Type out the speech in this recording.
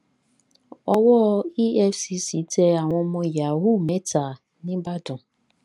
owó efcc tẹ àwọn ọmọ yahoo mẹta nìbàdàn